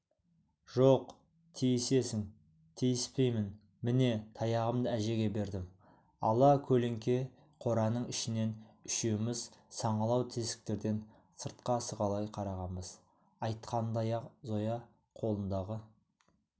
жоқ тиісесің тиіспеймін міне таяғымды әжеге бердім ала көлеңке қораның ішінен үшеуміз саңылау тесіктерден сыртқа сығалай қарағанбыз айтқанындай-ақ зоя қолындағы